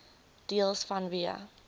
deels vanweë